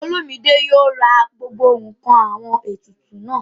Olúmidé yóò ra gbogbo ǹkan àwọn ètùtù náà